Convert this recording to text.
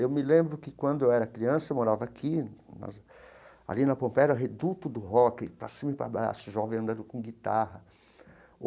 Eu me lembro que, quando eu era criança, eu morava aqui nas, ali na Pompeia, o Reduto do Rock, para cima e para baixo, jovem andando com guitarra.